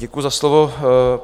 Děkuji za slovo.